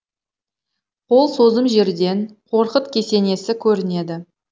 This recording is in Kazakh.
қол созым жерден қорқыт кесенесі көрінеді